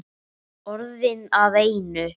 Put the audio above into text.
Orðin að einu.